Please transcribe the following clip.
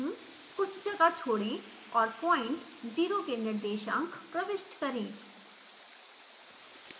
कुछ जगह छोड़ें और पॉइंट 0 के निर्देशांक प्रविष्ट करें